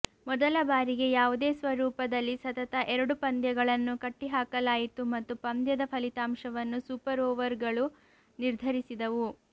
ಮೊದಲ ಬಾರಿಗೆ ಯಾವುದೇ ಸ್ವರೂಪದಲ್ಲಿ ಸತತ ಎರಡು ಪಂದ್ಯಗಳನ್ನು ಕಟ್ಟಿಹಾಕಲಾಯಿತು ಮತ್ತು ಪಂದ್ಯದ ಫಲಿತಾಂಶವನ್ನು ಸೂಪರ್ ಓವರ್ಗಳು ನಿರ್ಧರಿಸಿದವು